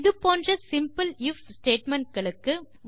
இது போன்ற simple if statement களுக்கு